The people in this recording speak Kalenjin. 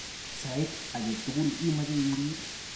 Sait age tugul imeche irir.